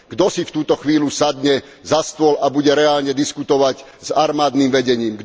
Kto si v túto chvíľu sadne za stôl a bude reálne diskutovať s armádnym vedením?